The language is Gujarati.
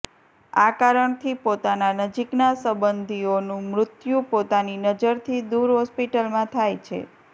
આ કારણથી પોતાના નજીકના સંબંધીઓનું મૃત્યુ પોતાની નજરથી દૂર હોસ્પિટલમાં થાય છે